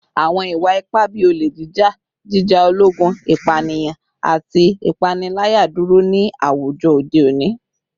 Awọn iwa-ipa bii ole jija, jija ologun, ipaniyan, ati ipanilaya duro ni awujọ ode oni